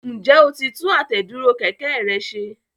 Ǹjẹ́ o ti tún àtẹ̀dúró kẹ̀kẹ́ rẹ ṣe?